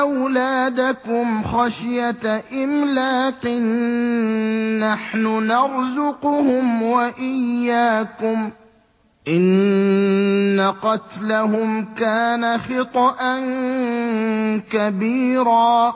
أَوْلَادَكُمْ خَشْيَةَ إِمْلَاقٍ ۖ نَّحْنُ نَرْزُقُهُمْ وَإِيَّاكُمْ ۚ إِنَّ قَتْلَهُمْ كَانَ خِطْئًا كَبِيرًا